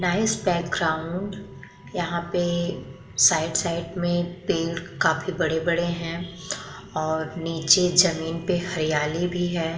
Nice background यहाँ पे side side में पेड़ काफी बड़े-बड़े है और नीचे ज़मीन पे हरियालि भी है।